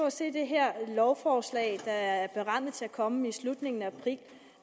at se det her lovforslag der er berammet til at komme i slutningen af april